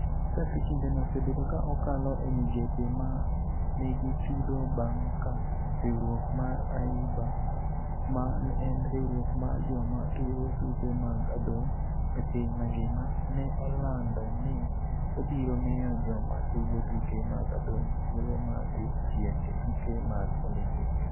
Chakre kindeno, osebedo ka okalo e migepe ma nigi chudo bang' ka riwruok mar AIBA ma en riwruok mar joma tugo tuke mag adhong' e piny mangima, ne olando ni obiro miyo joma tugo tuke mag adhong' thuolo mar dhi piem e tuke mag Olimpik.